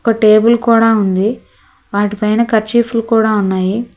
ఒక టేబుల్ కూడా ఉంది వాటి పైన కర్చీఫులు కూడా ఉన్నాయి.